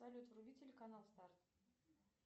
салют вруби телеканал старт